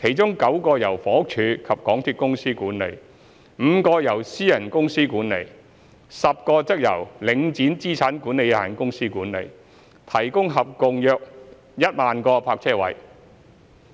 其中9個由房屋署及港鐵公司管理 ，5 個由私人公司管理 ，10 個則由領展資產管理有限公司管理，提供合共約1萬個泊車位。